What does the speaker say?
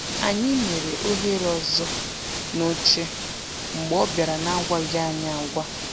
Anyị mere ohere ọzọ n’oche mgbe ọ bịara n’agwaghị anyị agwa.